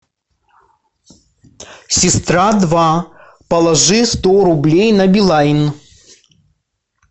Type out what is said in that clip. сестра два положи сто рублей на билайн